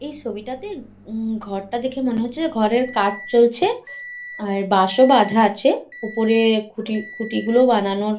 এই ছবিটা তে ঘরটা দেখে মনে হচ্ছে ঘরের কাজ চলছে আর বাঁশ ও বাধা আছে উপরে খুঁটি খুঁটিগুলো বানানোর--